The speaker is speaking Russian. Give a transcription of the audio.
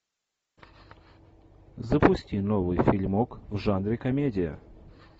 запусти новый фильмок в жанре комедия